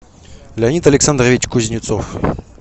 леонид александрович кузнецов